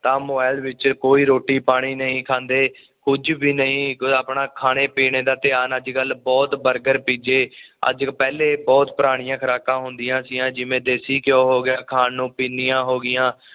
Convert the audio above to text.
ਤਾਂ ਮੋਬਾਇਲ ਵਿੱਚ ਕੋਈ ਰੋਟੀ ਪਾਣੀ ਨਹੀਂ ਖਾਂਦੇ ਕੁਝ ਵੀ ਨਹੀਂ ਆਪਣਾ ਖਾਣੇ ਪੀਣੇ ਦਾ ਧਿਆਨ ਅੱਜ ਕੱਲ ਬੁਹਤ ਬਰਗਰ ਪੀਜ਼ੇ ਅੱਜ ਆ ਜੋ ਪਹਿਲੇ ਬੁਹਤ ਪੁਰਾਣੀਆਂ ਖੁਰਾਕਾਂ ਹੁੰਦੀਆਂ ਸੀ ਆ ਜਿਵੇਂ ਦੇਸੀ ਘਿਓ ਹੋ ਗਿਆ ਖਾਣ ਨੂੰ ਪਿੰਨੀਆ ਹੋ ਗਈਆਂ